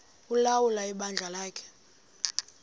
ulawula ibandla lakhe